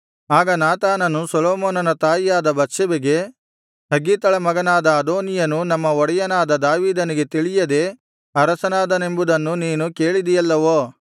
ಆಗ ನಾತಾನನು ಸೊಲೊಮೋನನ ತಾಯಿಯಾದ ಬತ್ಷೆಬೆಗೆ ಹಗ್ಗೀತಳ ಮಗನಾದ ಅದೋನೀಯನು ನಮ್ಮ ಒಡೆಯನಾದ ದಾವೀದನಿಗೆ ತಿಳಿಯದೇ ಅರಸನಾದನೆಂಬುದನ್ನು ನೀನು ಕೇಳಿದಿಯಲ್ಲವೋ